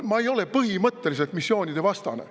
Ma ei ole põhimõtteliselt missioonide vastane.